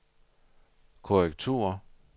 korrektur